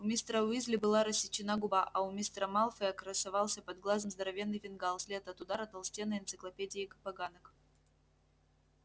у мистера уизли была рассечена губа а у мистера малфоя красовался под глазом здоровенный фингал след от удара толстенной энциклопедией поганок